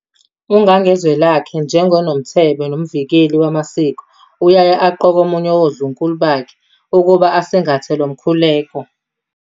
UNgangezwelakhe, njengoNomthebe nomvikeli wamasiko uyaye aqoke omunye woNdlunkulu bakhe ukuba asingathe lo mkhuleko.